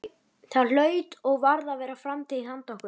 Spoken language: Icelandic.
Það hlaut og varð að vera framtíð handa okkur.